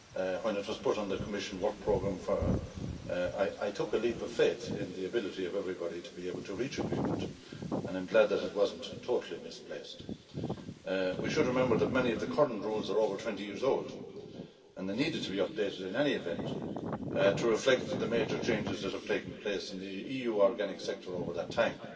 When it was put on the Commission work programme I took a leap of faith in the ability of everybody to be able to reach an agreement and I'm glad that it wasn't totally misplaced. We should remember that many of the current rules are over 20 years old, and they needed to be updated in any event to reflect the major changes that have taken place in the EU organic sector over that time.